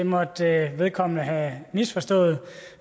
måtte vedkommende have misforstået